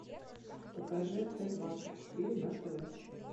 покажи т двадцать четыре на тв